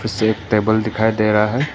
इसे एक टेबल दिखाई दे रहा है।